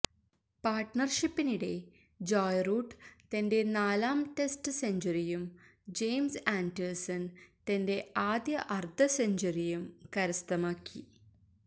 പാര്ട്ണര്ഷിപ്പിനിടെ Joe Root തന്റെ നാലാം test സെഞ്ച്വറിയും ജെയിംസ് ആന്റേഴ്സണ് തന്റെ ആദ്യ അര്ദ്ധ സെഞ്ച്വറിയും കരസ്ഥമാക്കി